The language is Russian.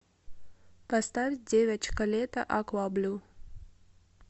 поставь девочка лето акваблю